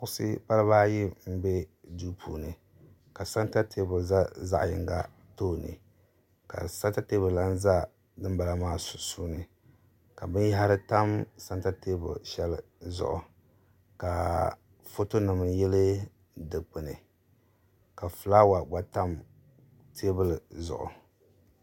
kuɣusi baliba ayi n bɛ duu puuni ka sɛnta teebuli ʒɛ zaɣ yinga tooni ka sɛnta teebuli lahi ʒɛ dinbala maa sunsuuni ka binyahari tam sɛnta teebuli shɛli zuɣu ka foto nim yili dikpuni ka fulaawa gba tam teebuli zuɣu